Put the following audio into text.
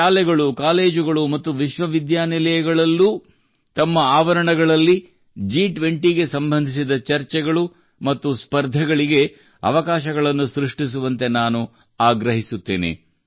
ಶಾಲೆಗಳು ಕಾಲೇಜುಗಳು ಮತ್ತು ವಿಶ್ವವಿದ್ಯಾನಿಲಯಗಳಲ್ಲೂ ತಮ್ಮ ಆವರಣಗಳಲ್ಲಿ G20 ಗೆ ಸಂಬಂಧಿಸಿದ ಚರ್ಚೆಗಳು ಮತ್ತು ಸ್ಪರ್ಧೆಗಳಿಗೆ ಅವಕಾಶಗಳನ್ನು ಸೃಷ್ಟಿಸುವಂತೆ ನಾನು ಆಗ್ರಹಿಸುತ್ತೇನೆ